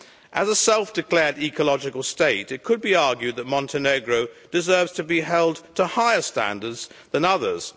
As a self declared ecological state, it could be argued that Montenegro deserves to be held to higher standards than others.